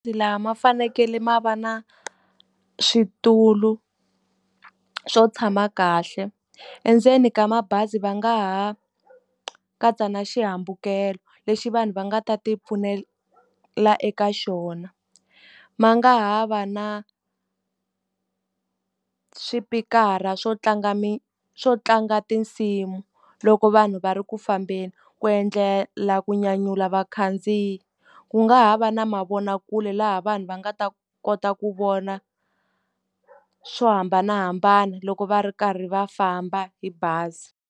Lama ma fanekele ma va na switulu swo tshama kahle, endzeni ka mabazi va nga ha katsa na xihambukelo lexi vanhu va nga ta ti pfunela eka xona. Ma nga ha va na swipikara swo tlanga swo tlanga tinsimu loko vanhu va ri ku fambeni, ku endlela ku nyanyula vakhandziyi. Ku nga ha va na mavonakule laha vanhu va nga ta kota ku vona swo hambanahambana loko va ri karhi va famba hi bazi.